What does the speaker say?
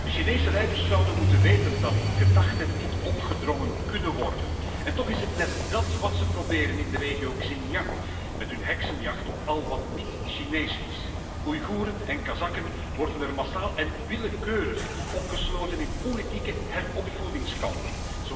De Chinese leiders zouden moeten weten dat gedachten niet opgedrongen kunnen worden en toch is het net dat wat ze proberen in de regio Xinjiang met hun heksenjacht op al wat niet Chinees is. Oeigoeren en Kazakken worden er massaal en willekeurig opgesloten in politieke heropvoedingskampen.